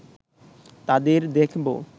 তাদের দেখব